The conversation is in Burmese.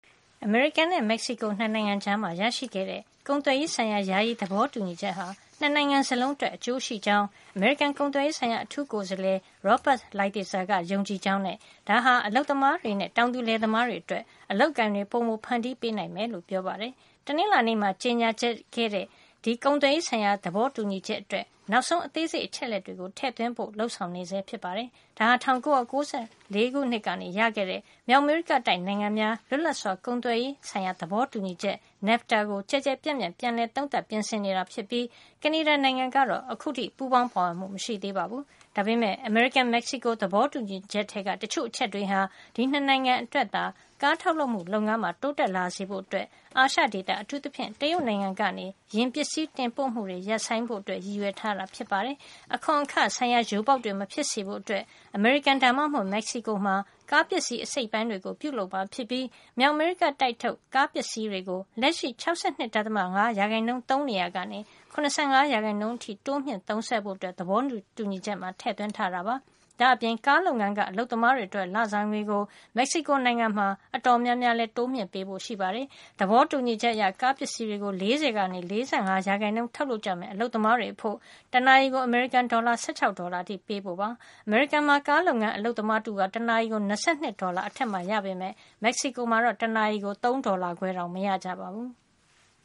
အမေရိကန်နဲ့ မက်ဆီကို ၂ နိုင်ငံကြား ရရှိခဲ့တဲ့ ကုန်သွယ်ရေးဆိုင်ရာ ယာယီသဘောတူညီချက်ဟာ ၂ နိုင်ငံစလုံးအတွက် အကျိုးရှိကြောင်း အမေရိကန်ကုန်သွယ်ရေး ဆိုင်ရာ အထူးကိုယ်စားလှယ် Robert Lighthizer ကယုံကြည်ကြောင်းနဲ့ ဒါဟာ အလုပ်သမားတွေနဲ့ တောင်သူလယ်သမားတွေအတွက် အလုပ်အကိုင်တွေ ပိုမိုဖန်တီးပေးနိုင်မယ်လို့ ပြောပါတယ်။ တနင်္လာနေ့မှာ ကြေညာခဲ့တဲ့ ဒီကုန်သွယ်ရေးဆိုင်ရာ သဘောတူညီချက်အတွက် နောက်ဆုံးအသေးစိတ် အချက်အလက်တွေကို ထည့်သွင်းဖို့ လုပ်ဆောင်နေဆဲ ဖြစ်ပါတယ်။ ဒါဟာ ၁၉၉၄ ခုနှစ် က ရခဲ့တဲ့ မြောက်အမေရိကတိုက်နိုင်ငံများ လွတ်လပ်စွာကုန်သွယ်ရေး သဘောတူညီချက် NAFTA ကို ကျယ်ကျယ်ပြန့်ပြန့် ပြန်လည်သုံးသပ် ပြင်ဆင်နေတာ ဖြစ်ပြီး ကနေဒါနိုင်ငံကတော့ အခုထိ ပူးပေါင်းပါဝင်မှု မရှိသေးပါဘူး။ ဒါပေမယ့် အမေရိကန် - မက်ဆီကို သဘောတူညီချက် ထဲက တချို့ အချက်တွေဟာ ဒီ ၂ နိုင်ငံ အတွက် ကားထုတ်လုပ်မှု လုပ်ငန်းမှာ တိုးတက်လာစေဖို့ အာရှ ဒေသ အထူးသဖြင့် တရုတ်နိုင်ငံကနေ ယာဉ်ပစ္စည်း တင်ပို့မှုတွေ ရပ်ဆိုင်ဖို့ ရည်ရွယ်ထားတာ ဖြစ်ပါတယ်။ အခွန်အခဆိုင်ရာ ယိုပေါက်တွေ မဖြစ်စေဖို့အတွက် အမေရိကန် ဒါမှမဟုတ် မက်ဆီကိုမှာ ကားပစ္စည်းအစိတ်အပိုင်းတွေကို ပြုလုပ်မှာ ဖြစ်ပြီး မြောက်အမေရိကတိုက်ထုတ် ကားပစ္စည်းတွေကို လက်ရှိ ၆၂. ၅ % သုံးနေရာကနေ ၇၅ % အထိ တိုးမြှင့်ဖို့ သဘောတူညီချက်မှာ ထည့်သွင်းထားတာပါ။ ဒါ့အပြင် ကားလုပ်ငန်းက အလုပ်သမားတွေ အတွက် လစာငွေကို မက်ဆီကိုနိုင်ငံမှာ အတော်များများ တိုးမြှင့်ပေးဖို့ ရှိပါတယ်။ သဘောတူညီချက်အရ ကားပစ္စည်း တွေကို ၄၀ ကနေ ၄၅ % ထုတ် လုပ်ကြမယ့် အလုပ်သမားတွေအဖို့ တနာရီကို အမေရိကန်ဒေါ်လာ ၁၆ ဒေါ်လာ အထိ ပေးဖို့ ဖြစ်ပါတယ်။ အမေရိကန်မှာ ကားလုပ်ငန်း အလုပ်သမားတဦးဟာ တနာရီကို ၂၂ ဒေါ်လာ အထက်မှာ ရပေမယ့် မက်ဆီကို မှာတော့ တနာရီကို ၃ ဒေါ်လာခွဲတောင် မရကြပါဘူး။